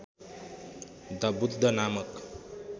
the Buddha नामक